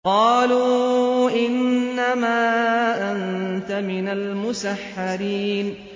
قَالُوا إِنَّمَا أَنتَ مِنَ الْمُسَحَّرِينَ